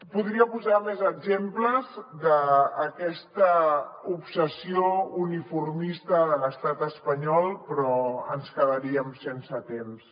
podria posar més exemples d’aquesta obsessió uniformista de l’estat espanyol però ens quedaríem sense temps